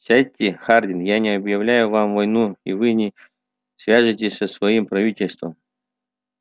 сядьте хардин я не объявляю вам войну и вы не свяжетесь со своим правительством